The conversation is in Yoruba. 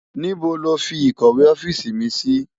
Nibó ló fi ikòwé òfisi mi si?